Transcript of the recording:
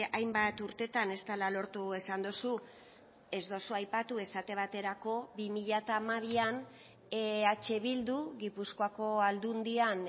hainbat urtetan ez dela lortu esan duzu ez duzu aipatu esate baterako bi mila hamabian eh bildu gipuzkoako aldundian